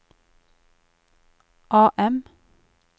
AM